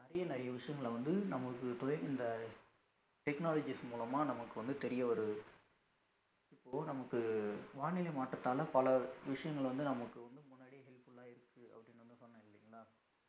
நிறைய நிறைய விஷயங்கள வந்து நமக்கு இந்த technologies மூலமா நமக்கு வந்து தெரிய வருது இப்போ நமக்கு வானிலை மாற்றத்தால பல விஷயங்கள் வந்து நமக்கு வந்து முன்னாடியே helpful ஆ இருக்கு அப்படின்னு வந்து சொன்னேன் இல்லைங்களா